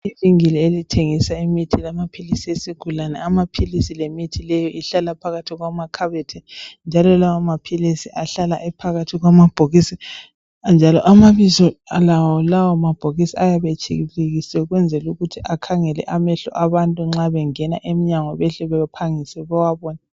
Ibhidili elithengisa imithi lamaphilisi. esigulane. Amaphilisi lemithi leyo ihlala phakathi kwamakhabothi. Lawomaphilisi ahlala ephakathi kwamabhokisi, njalo amabiza alawomabhokisi ayabe etshibilikisiwe, akhangela abantu, ukuze nxa bengena, emnyango bahle baphangise bawabone.